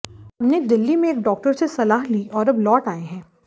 हमने दिल्ली में एक डॉक्टर से सलाह ली है और अब लौट आए हैं